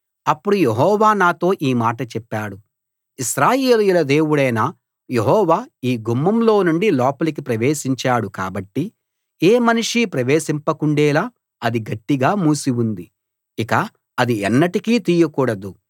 అప్పుడు యెహోవా నాతో ఈ మాట చెప్పాడు ఇశ్రాయేలీయుల దేవుడైన యెహోవా ఈ గుమ్మంలో నుండి లోపలికి ప్రవేశించాడు కాబట్టి ఏ మనిషీ ప్రవేశింపకుండేలా అది గట్టిగా మూసి ఉంది ఇక అది ఎన్నటికీ తీయకూడదు